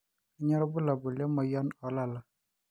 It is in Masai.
kanyio irbulabul le moyian oolala